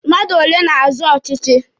Mmadụ ole na-azọ ọchịchị?